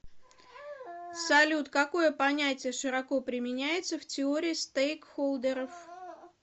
салют какое понятие широко применяется в теории стейкхолдеров